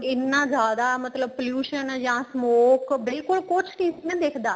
ਇੰਨਾ ਜਿਆਦਾ ਮਤਲਬ pollution ਏ ਜਾਂ ਜਿਆਦਾ smock ਬਿਲਕੁਲ ਕੁੱਛ ਨਹੀਂ ਸੀ ਦਿਖਦਾ